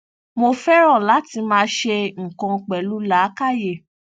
mo fẹran láti máa ṣe nǹkan pẹlú làákàyè